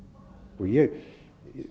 ég